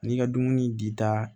N'i ka dumuni dita